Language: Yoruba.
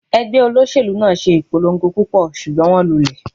Ẹgbẹ́ olóṣèlú náà ṣe ìpolongo púpọ̀, ṣùgbọ́n wón lulẹ̀.